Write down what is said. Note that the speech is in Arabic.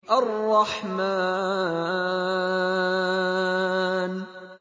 الرَّحْمَٰنُ